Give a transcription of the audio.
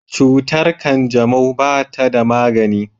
Cutar kanjamau ba ta da magani.